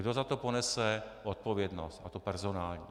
Kdo za to ponese odpovědnost, a to personální.